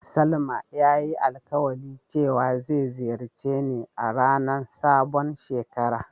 Salma ya yi alkawali cewa zai ziyace ni a ranan sabon shekara.